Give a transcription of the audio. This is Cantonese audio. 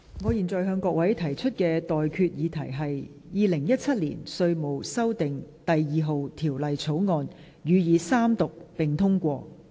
我現在向各位提出的待決議題是：《2017年稅務條例草案》，予以三讀並通過。